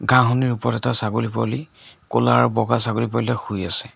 ঘাঁহনিৰ ওপৰত এটা ছাগলী পোৱালী ক'লা আৰু বগা ছাগলী পোৱালী এটা শুই আছে।